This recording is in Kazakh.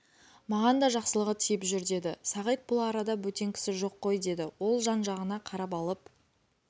маған да жақсылығы тиіп жүр деді сағит бұл арада бөтен кісі жоқ қой деді ол жан-жағына қарап алып